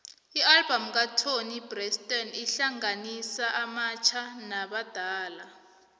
ialbum katoni braxton ihlanganisa abatjha nabadala